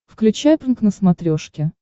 включай прнк на смотрешке